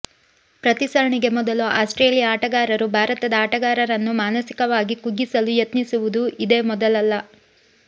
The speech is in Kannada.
ಪ್ರತಿ ಸರಣಿಗೆ ಮೊದಲು ಆಸ್ಟ್ರೇಲಿಯ ಆಟಗಾರರು ಭಾರತದ ಆಟಗಾರರನ್ನು ಮಾನಸಿಕವಾಗಿ ಕುಗ್ಗಿಸಲು ಯತ್ನಿಸುವುದು ಇದೇ ಮೊದಲಲ್ಲ